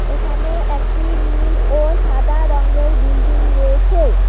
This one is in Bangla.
এখানে একটি নীল ও সাদা রঙ্গের বিল্ডিং রয়েছে।